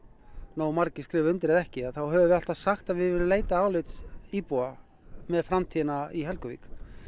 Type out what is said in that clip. nógu margir skrifa undir eða ekki þá höfum við alltaf sagt að við viljum leita álits íbúa með framtíðina í Helguvík